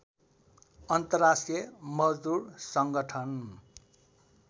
अन्तर्राष्ट्रिय मजदुर सङ्गठन